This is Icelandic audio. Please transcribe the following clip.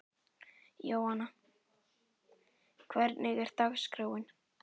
Jóanna, hvernig er dagskráin?